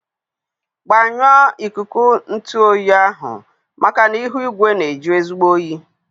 Gbanyụọ ikuku ntụ oyi ahụ maka na ihu igwe na-eji ezigbo oyi.